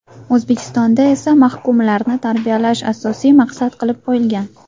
O‘zbekistonda esa mahkumlarni tarbiyalash asosiy maqsad qilib qo‘yilgan.